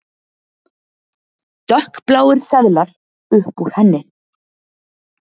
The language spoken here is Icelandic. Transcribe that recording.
Dökkbláir seðlar upp úr henni.